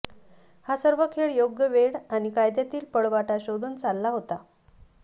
हा सर्व खेळ योग्य वेळ आणि कायद्यातील पळवाटा शोधून चालला होता